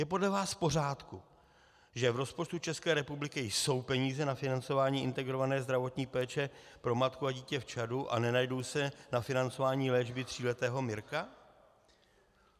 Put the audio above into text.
Je podle vás v pořádku, že v rozpočtu České republiky jsou peníze na financování integrované zdravotní péče pro matku a dítě v Čadu a nenajdou se na financování léčby tříletého Mirka?